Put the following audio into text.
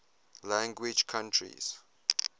language countries